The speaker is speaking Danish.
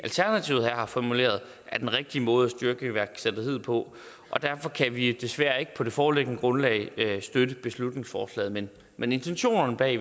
har formuleret er den rigtige måde at styrke iværksætteriet på og derfor kan vi desværre ikke på det foreliggende grundlag støtte beslutningsforslaget men men intentionerne bag